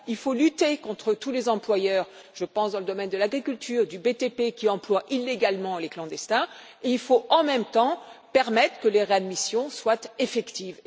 Il faut lutter contre tous les employeurs je pense aux domaines de l'agriculture, du BTP qui emploient illégalement les clandestins, et il faut en même temps permettre que les réadmissions soient effectives.